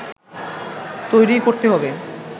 তৈরি করতে হবে